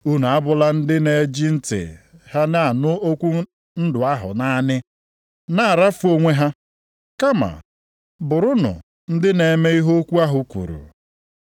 Unu abụla ndị na-eji ntị ha na-anụ okwu ndụ ahụ naanị, na-arafu onwe ha, kama bụrụnụ ndị na-eme ihe okwu ahụ kwuru.